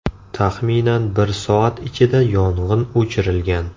Taxminan bir soat ichida yong‘in o‘chirilgan.